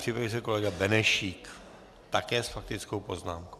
Připraví se kolega Benešík, také s faktickou poznámkou.